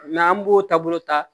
an b'o taabolo ta